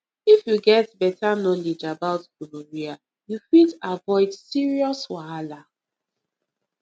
if you get better knowledge about gonorrhea you fit avoid serious wahala